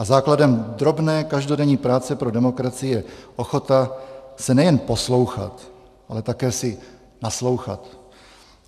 A základem drobné každodenní práce pro demokracii je ochota se nejen poslouchat, ale také si naslouchat.